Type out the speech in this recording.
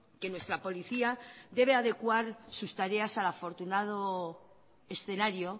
que nuestra policía debe adecuar sus tareas al afortunado escenario